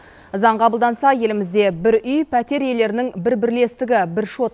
заң қабылданса елімізде бір үй пәтер иелерінің бір бірлестігі бір шот